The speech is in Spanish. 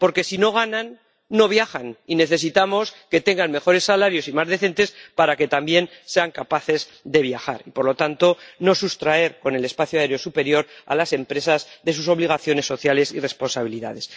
porque si no ganan, no viajan, y necesitamos que tengan mejores salarios y más decentes para que también sean capaces de viajar y, por lo tanto, no sustraer con el espacio aéreo superior a las empresas de sus obligaciones sociales y responsabilidades.